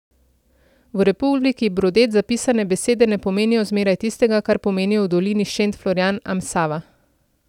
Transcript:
V Republiki Brodet zapisane besede ne pomenijo zmeraj tistega, kar pomenijo v Dolini Šent Florijan am Sava.